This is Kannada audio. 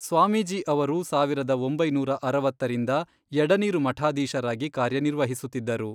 ಸ್ವಾಮೀಜಿ ಅವರು ಸಾವಿರದ ಒಂಬೈನೂರ ಅರವತ್ತರಿಂದ ಎಡನೀರು ಮಠಾಧೀಶರಾಗಿ ಕಾರ್ಯನಿರ್ವಸುತ್ತಿದ್ದರು.